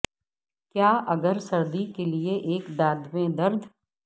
کیا اگر سردی کے لئے ایک دانت میں درد